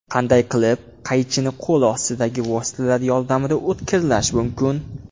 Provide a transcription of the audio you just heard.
Qanday qilib qaychini qo‘l ostidagi vositalar yordamida o‘tkirlash mumkin?.